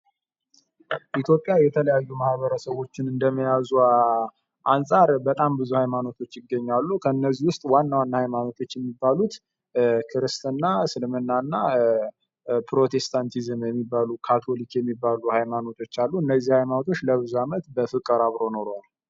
ኢትዮጵያ የተለያዩ ማበረሰቦችን እንደመያዟ አንጻር በጣም ብዙ ሃይማኖቶች ይገኛሉ ከእነዚህ ውስጥ ዋና ዋና ሃይማኖቶችን የሚባሉት ክርስትና እስልምናና ትሮቴስታንቲዝም የሚባሉ ካቶሊክ የሚባሉ ሃይማኖቶች አሉ እነዚህ ሃይማኖቶች ለብዙ አመት በፍቅር አብረው ኑረዋል።